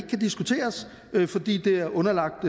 kan diskuteres fordi det er underlagt